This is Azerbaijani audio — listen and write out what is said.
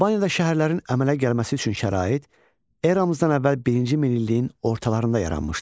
Albaniyada şəhərlərin əmələ gəlməsi üçün şərait eramızdan əvvəl birinci minilliyin ortalarında yaranmışdı.